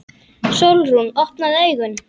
Sólrún, opnaðu augun!